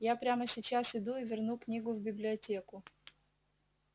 я прямо сейчас иду и верну книгу в библиотеку